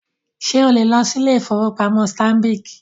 Ṣé o lè lọ sí ilé-ìfowópamọ́ Stanbic?